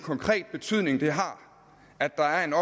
betydning det har at der er en